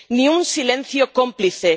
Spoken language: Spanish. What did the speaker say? Ni un silencio cómplice.